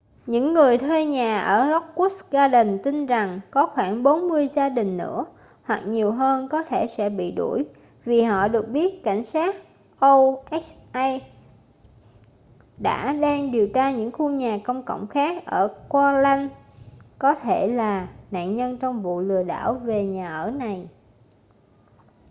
những người thuê nhà ở lockwood gardens tin rằng có khoảng 40 gia đình nữa hoặc nhiều hơn có thể sẽ bị đuổi vì họ được biết cảnh sát oha cũng đang điều tra những khu nhà công cộng khác ở oakland có thể là nạn nhân trong vụ lừa đảo về nhà ở này